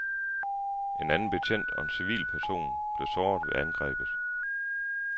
En anden betjent og en civilperson blev såret ved angrebet.